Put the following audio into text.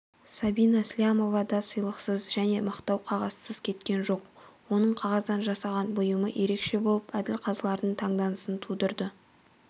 сабина слямова да сыйлықсыз және мақтау қағазсыз кеткен жоқ оның қағаздан жасаған бұйымы ерекше болып әділ қазылардың таңданысын тудырды